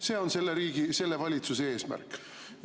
See on selle valitsuse eesmärk.